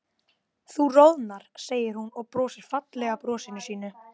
Þú roðnar, segir hún og brosir fallega brosinu sínu.